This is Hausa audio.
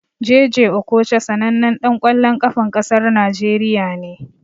Jay jay Okocha sanannan ɗan ƙwallon ƙafan ƙasar Najeriya ne.